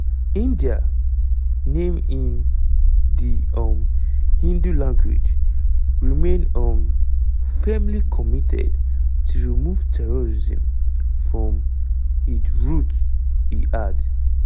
[india name in di um hindi language] remain um firmly committed to remove terrorism from id roots" e add.